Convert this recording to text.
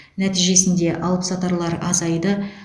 нәтижесінде алыпсатарлар азайды